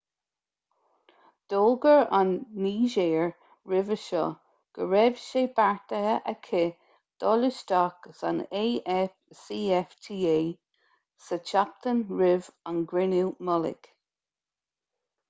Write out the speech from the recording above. d'fhógair an nigéir roimhe seo go raibh sé beartaithe aici dul isteach san afcfta sa tseachtain roimh an gcruinniú mullaigh